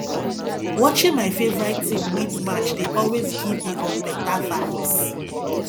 watching my favorite team win match dey always give me um beta vibes